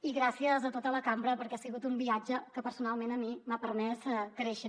i gràcies a tota la cambra perquè ha sigut un viatge que personalment a mi m’ha permès créixer